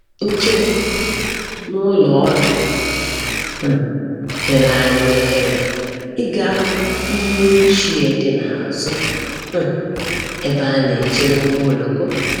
Nchegbu n’ụlọ ọdụ um nyere anyị ohere ịga hụ iyi ochie dị n’azụ um ebe a na-echere ụgbọ oloko.